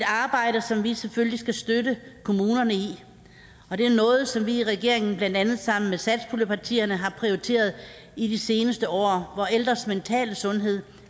arbejde som vi selvfølgelig skal støtte kommunerne i og det er noget som vi i regeringen blandt andet sammen med satspuljepartierne har prioriteret i de seneste år hvor ældres mentale sundhed